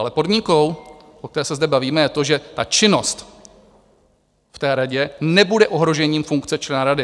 Ale podmínkou, o které se zde bavíme, je to, že ta činnost v té radě nebude ohrožením funkce člena rady.